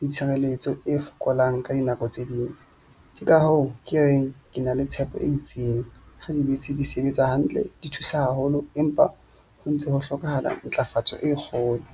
le tshireletso e fokolang, ka dinako tse ding. Ke ka hoo ke reng ke na le tshepo e itseng ha dibese di sebetsa hantle, di thusa haholo, empa ho ntso ho hlokahala ntlafatso e kgolo.